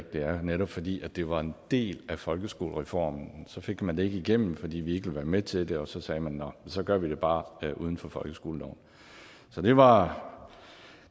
at være netop fordi det var en del af folkeskolereformen så fik man det ikke igennem fordi vi ikke ville være med til det og så sagde man nå så gør vi det bare uden for folkeskoleloven så det var